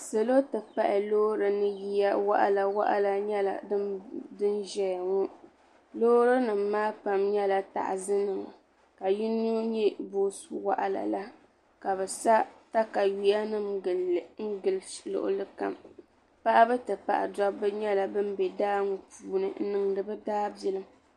Salo ti pahi loori ni yiya waɣala nyɛ din ʒɛya ŋɔ loori nima maa pam nyɛla taɣasi nima ka yino nyɛ boosu waɣala la ka bɛ sa takawiya nima gili luɣuli kam paɣaba ti pahi Dabba nyɛla ban be daa ŋɔ puuni n niŋdi bɛ daabilim.